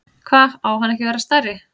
Hva, á hann ekki að vera stærri?